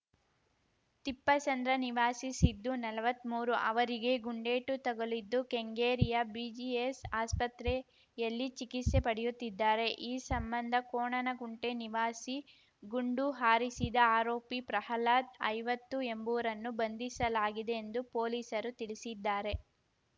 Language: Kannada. ತಿಪ್ಪಸಂದ್ರ ನಿವಾಸಿ ಸಿದ್ದು ನಲ್ವತ್ಮೂರು ಅವರಿಗೆ ಗುಂಡೇಟು ತಗುಲಿದ್ದು ಕೆಂಗೇರಿಯ ಬಿಜಿಎಸ್‌ ಆಸ್ಪತ್ರೆಯಲ್ಲಿ ಚಿಕಿತ್ಸೆ ಪಡೆಯುತ್ತಿದ್ದಾರೆ ಈ ಸಂಬಂಧ ಕೋಣನಕುಂಟೆ ನಿವಾಸಿ ಗುಂಡು ಹಾರಿಸಿದ ಆರೋಪಿ ಪ್ರಹ್ಲಾದ್‌ ಐವತ್ತು ಎಂಬುವರನ್ನು ಬಂಧಿಸಲಾಗಿದೆ ಎಂದು ಪೊಲೀಸರು ತಿಳಿಸಿದ್ದಾರೆ